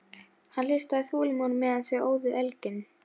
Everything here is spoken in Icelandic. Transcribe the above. Hann hlustaði þolinmóður meðan þau óðu elginn.